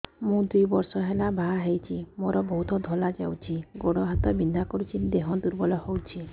ମୁ ଦୁଇ ବର୍ଷ ହେଲା ବାହା ହେଇଛି ମୋର ବହୁତ ଧଳା ଯାଉଛି ଗୋଡ଼ ହାତ ବିନ୍ଧା କରୁଛି ଦେହ ଦୁର୍ବଳ ହଉଛି